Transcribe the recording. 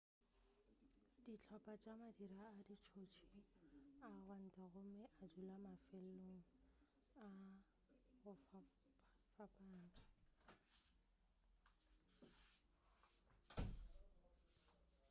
dihlopa tša madira a ditšotši a gwanta gomme a dula mafelong a go fapfapana